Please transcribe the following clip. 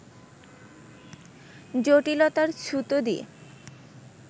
জটিলতার ছুতো দিয়ে